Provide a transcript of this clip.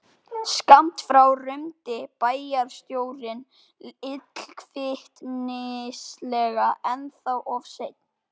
Skammt frá rumdi bæjarstjórinn illkvittnislega: Ennþá of sein